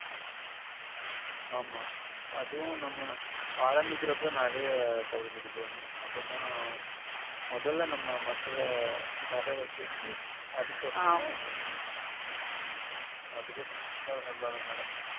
ஆமா அதும் நம்ம ஆரம்பிக்கிறப்போ நெறைய தள்ளுபடி பண்ணனும் அப்பதான் மொதல்ல நம்ம மக்கள வாரவெக்கணும் அதுக்கப்புறம் ஆமா அதுக்கப்புறம் உம் அதுக்கப்புறம் தன்னால வேல நடக்கும்